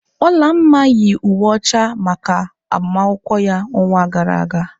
Olamma yi uwe ọcha a maka agbamakwụkwọ ya n'ọnwa gara aga.